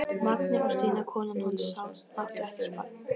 Mangi og Stína konan hans áttu ekkert barn.